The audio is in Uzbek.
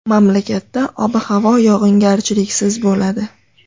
Mamlakatda ob-havo yog‘ingarchiliksiz bo‘ladi.